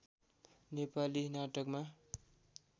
नेपाली नाटकमा